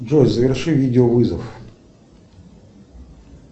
джой заверши видеовызов